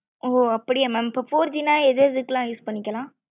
ஒஅப்படியா mam இப்போ four G ந எது எதுக்குல use பண்ணிக்கலாம்